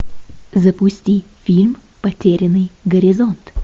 запусти фильм потерянный горизонт